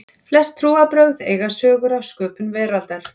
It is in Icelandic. Flest trúarbrögð eiga sögur af sköpun veraldarinnar.